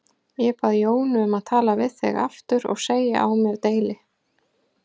Ég bað Jónu um að tala við þig aftur og segja á mér deili.